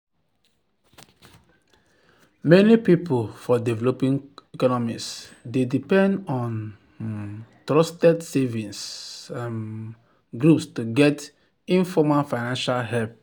many people for developing economies dey depend on um trusted savings um groups to get informal financial help